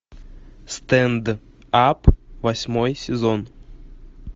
стенд ап восьмой сезон